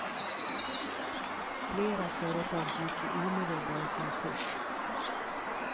Flera företag gick i omedelbar konkurs.